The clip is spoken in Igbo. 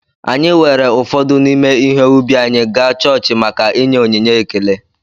Anyị weere ụfọdụ n’ime ihe ubi anyị gaa chọọchị maka ịnye onyinye ekele